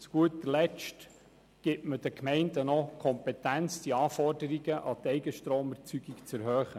Zu guter Letzt gibt man den Gemeinden noch die Kompetenz, die Anforderungen an die Eigenstromerzeugung zu erhöhen.